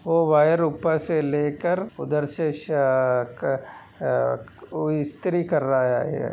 और वायर उपर से लेकर उधर से शक अ अ इस्री कर रहा है।